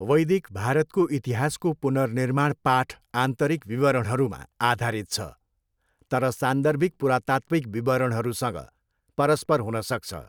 वैदिक भारतको इतिहासको पुनर्निर्माण पाठ आन्तरिक विवरणहरूमा आधारित छ तर सान्दर्भिक पुरातात्विक विवरणहरूसँग परस्पर हुन सक्छ।